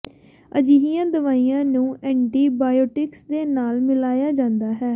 ਅਜਿਹੀਆਂ ਦਵਾਈਆਂ ਨੂੰ ਐਂਟੀਬਾਇਓਟਿਕਸ ਦੇ ਨਾਲ ਮਿਲਾਇਆ ਜਾਂਦਾ ਹੈ